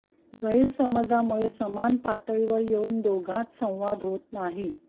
गैरसमजामुळे समान पातळीवर येऊन दोघांत संवाद होत नाही